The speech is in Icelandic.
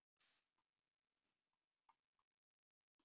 Þrír nefndarmenn töldu að svo ætti að vera en þrír voru á móti.